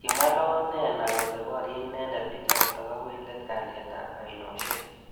Kimwa Loonena kole borye inendet bichotok. akoi let kalyet ab ainoshek.